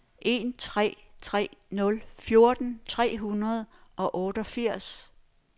en tre tre nul fjorten tre hundrede og otteogfirs